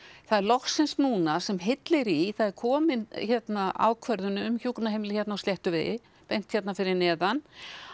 það er loksins núna sem hyllir í það er komin hérna ákvörðun um hjúkrunarheimili á Sléttuvegi beint hér fyrir neðan